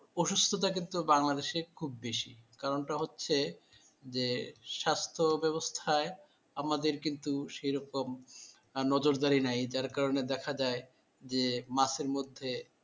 অসুস্থতা কিন্তু বাংলাদেশে খুব বেশি কারণটা হচ্ছে যে স্বাস্থ্য ব্যবস্থায় আমাদের কিন্তু সেরকম নজর দেয় নাই যার কারণে দেখা যায় যে মাসের মধ্যে